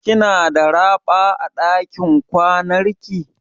Kina da raɓa a dakin kwanan ki?